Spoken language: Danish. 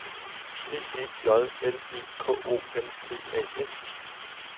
P E J L E K O M P A S